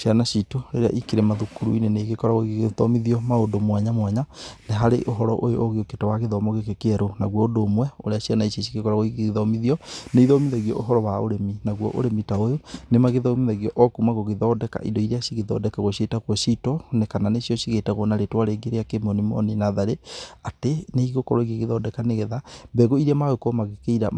Ciana citũ rĩrĩa ikĩrĩ mathukuru-inĩ nĩ igĩkoragwo igĩgĩthomithio maũndũ mwanya mwanya. Nĩ harĩ ũhoro ũyũ ũgĩũkĩte wa gĩthomo gĩkĩ kĩerũ. Na guo ũndũ ũmwe ũrĩa ciana ici cigĩkoragwo igĩthomithio, nĩ ithomithagio ũhoro wa ũrĩmi, naguo ũrĩmi ta ũyũ, nĩ magĩthomithagio o kuuma gũgĩthondeka indo irĩa cigĩthondekagwo ciĩtagwo ciitũ, na kana nĩ cio cigĩtagwo na rĩtwa rĩngĩ rĩa kĩmonimoni natharĩ, atĩ nĩ igũkorwo igĩgĩthondeka nĩ getha, mbegũ irĩa magũkorwo